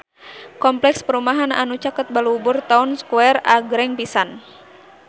Kompleks perumahan anu caket Balubur Town Square agreng pisan